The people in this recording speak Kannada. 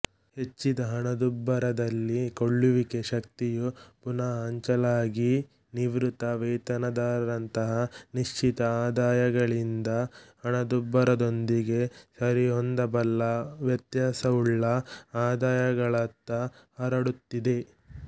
ಹೆಚ್ಚಿದ ಹಣದುಬ್ಬರದಲ್ಲಿ ಕೊಳ್ಳುವಿಕೆ ಶಕ್ತಿಯು ಪುನ ಹಂಚಲಾಗಿನಿವೃತ್ತ ವೇತನದಾರರಂತಹ ನಿಶ್ಚಿತ ಆದಾಯಗಳಿಂದ ಹಣದುಬ್ಬರದೊಂದಿಗೆ ಸರಿಹೊಂದಬಲ್ಲ ವ್ಯತ್ಯಾಸವುಳ್ಳ ಆದಾಯಗಳತ್ತ ಹರಡುತ್ತಿದೆ